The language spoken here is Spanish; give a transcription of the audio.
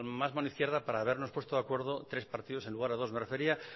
más mano izquierda para habernos puesto de acuerdo tres partidos en lugar de dos me refería